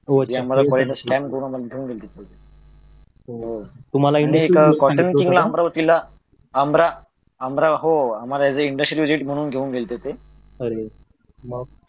तुम्हाला एक अमरावतीला अमर हो आम्हाला एक इंडस्ट्रियल व्हिजिट म्हणून घेऊन गेले होत ते